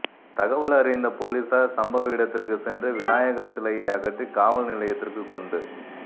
தகவலறிந்த போலீஸாா் சம்பவ இடத்திற்குச் சென்று விநாயகா் சிலையை அகற்றி காவல் நிலையத்திற்கு கொண்டு